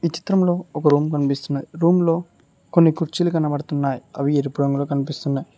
చిత్రంలో ఒక రూమ్ కనిపిస్తున్నది రూమ్ లో కొన్ని కుర్చీలు కనపడుతున్నాయి అవి ఎరుపు రంగులో కనిపిస్తున్నాయి.